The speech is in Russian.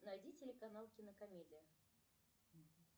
найди телеканал кинокомедия